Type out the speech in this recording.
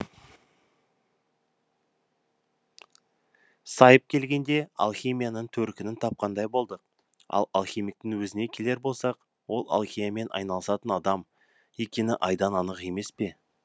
сайып келгенде алхимияның төркінін тапқандай болдық ал алхимиктің өзіне келер болсақ ол алхимиямен айналысатын адам екені айдан анық емес пе